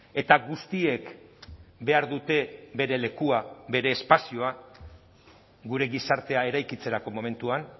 eta guztiek behar dute bere lekua bere espazioa gure gizartea eraikitzeko momentuan